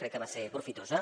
crec que va ser profitosa